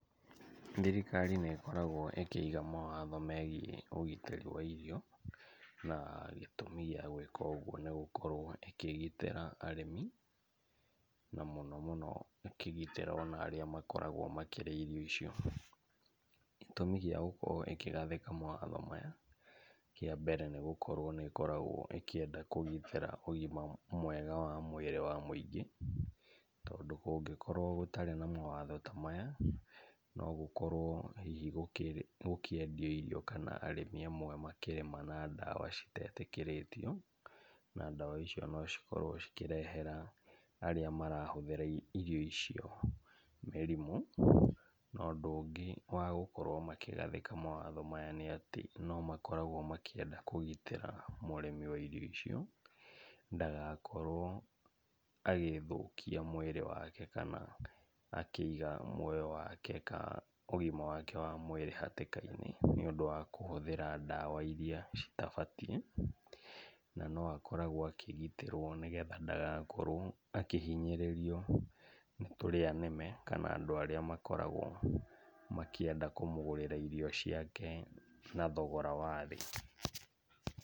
Thirikari nĩ ĩkoragwo ĩkĩiga mawatho megiĩ ũgitĩri wa irio, na gĩtũmi gĩa gwĩka ũguo nĩ gũkorwo ĩkĩgitĩra arĩmi na mũno mũno ĩkĩgitĩra o na arĩa makoragwo makĩrĩa irio icio. Gĩtũmi gĩa gũkorwo ĩkĩgathĩka mawatho maya, kĩa mbere nĩ gũkorwo nĩ ĩkoragwo ĩkĩenda kũgitĩra ũgima mwega wa mwĩrĩ wa mũingĩ tondũ kũngĩkorwo gũtarĩ na mawatho ta maya, no gũkorwo hihi gũkĩendio irio kana arĩmi amwe makĩrĩma na ndawa citetĩkĩrĩtio, na ndawa icio no cikorwo cikĩrehera arĩa marahũthĩra irio icio mĩrimũ. Na ũndũ ũngĩ wa gũkorwo makĩgathĩka mawatho maya nĩ atĩ no makoragwo makĩenda kũgitĩra mũrĩmi wa irio icio ndagakorwo agĩĩthũkia mwĩrĩ wake kana akĩiga muoyo wake ka ũgima wake wa mwĩrĩ hatĩka-inĩ nĩũndũ wa kũhũthĩra ndawa iria citabatiĩ. Na no akoragwo akĩgitĩrwo nĩgetha ndagakorwo akĩhinyĩrĩrio nĩ tũrĩa nĩme kana andũ arĩa makoragwo makĩenda kũmũgũrĩra irio ciake na thogora wa thĩ.